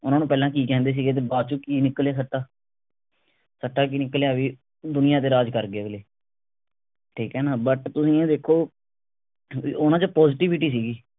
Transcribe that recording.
ਉਹਨਾਂ ਨੂੰ ਪਹਿਲਾਂ ਕਿ ਕਹਿੰਦੇ ਸੀ ਗੇ ਤੇ ਬਾਅਦ ਚੋ ਕਿ ਨਿਕਲਿਆ ਸੱਟਾ ਸੱਟਾ ਕਿ ਨਿਕਲਿਆ ਵੀ ਦੁਨੀਆਂ ਤੇ ਰਾਜ ਕਰ ਗਏ ਅਗਲੇ ਠੀਕ ਹੈ ਨਾ but ਤੁਸੀਂ ਇਹ ਦੇਖੋ ਵੀ ਉਹਨਾਂ ਚ positivity ਸੀਗੀ